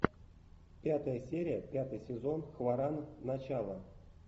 пятая серия пятый сезон хваран начало